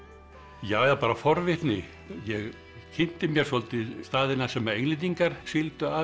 ja eða bara forvitni ég kynnti mér svolítið staðina sem Englendingar sigldu að